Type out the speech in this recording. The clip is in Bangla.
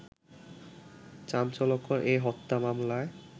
চাঞ্চল্যকর এ হত্যা মামলায়